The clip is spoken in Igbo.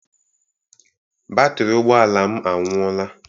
Batrị ụgbọala m anwụoọla.